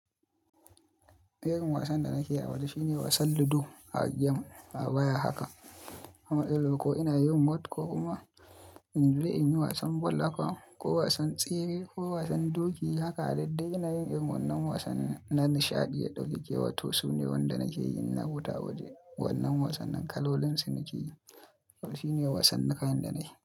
Irin wasan da nake yi a waje shine wasan ludo a game a waya haka, amma ko ina yin whot ko kuma in je in yi wasan bal haka ko wasan tsere, ko wasan doki haka duddai ina yin irin wannan wasanni na nishaɗi ya ɗaukake wato su ne wanda nake yin in na fita a waje. Wannan wasannin kalolin su nake yi. Saboda shine wasannikan da na yi.